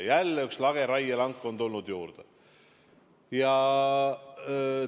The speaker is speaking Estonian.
Jälle üks lageraielank on juurde tulnud!